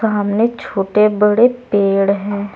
सामने छोटे बड़े पेड़ हैं।